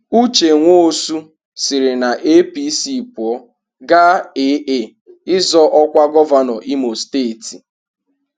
Uche Nwosu siri na APC pụọ gaa AA ịzọ ọkwa gọvanọ Imo steeti.